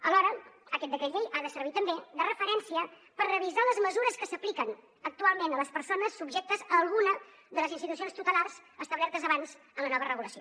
alhora aquest decret llei ha de servir també de referència per revisar les mesures que s’apliquen actualment a les persones subjectes a alguna de les institucions tutelars establertes abans en la nova regulació